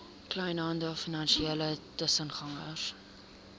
kleinhandel finansiële tussengangers